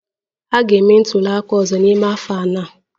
A ga-eme ntuli aka ọzọ n'ime afọ anọ.